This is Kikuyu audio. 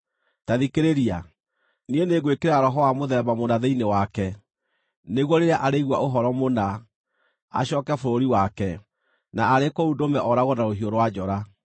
Ta thikĩrĩria! Niĩ nĩngwĩkĩra roho wa mũthemba mũna thĩinĩ wake, nĩguo rĩrĩa arĩigua ũhoro mũna, acooke bũrũri wake, na arĩ kũu ndũme ooragwo na rũhiũ rwa njora.’ ”